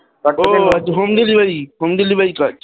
ও home delivery home delivery কাজ